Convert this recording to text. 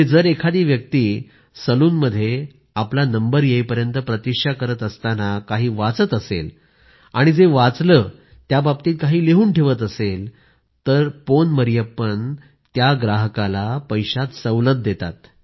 जर एखादी व्यक्ति सलूनमध्ये आपली पाळी येईपर्यंत प्रतिक्षा करत असताना काही वाचत असेल आणि जे वाचलं त्याबाबतीत काही लिहून ठेवत असेल तर तो पोन मरियप्पन त्या ग्राहकाला पैशात सवलत देतात